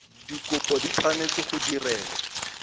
dikopo di tshwanetse go direlwa